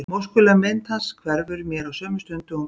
Móskuleg mynd hans hverfur mér á sömu stund og hún birtist.